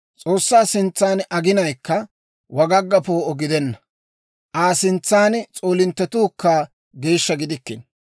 S'oossaa sintsan aginayikka wagagga poo'o gidenna; Aa sintsan s'oolinttetuukka geeshsha gidikkino.